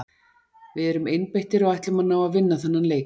Við erum einbeittir og ætlum að ná að vinna þennan leik.